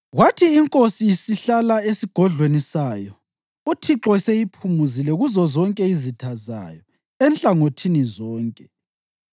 Kwathi inkosi isihlala esigodlweni sayo uThixo eseyiphumuzile kuzozonke izitha zayo enhlangothini zonke,